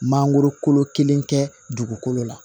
Mangoro kolo kelen kɛ dugukolo la